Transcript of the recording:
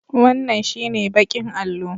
Wannan shi ne baƙin allo